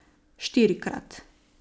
Štirikrat.